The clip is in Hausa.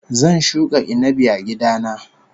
Zan shuka inabi a gida na